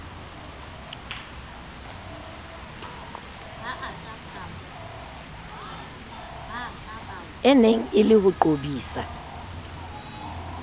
eneng e le ho qobisa